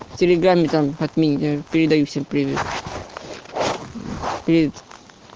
от меня передай всем привет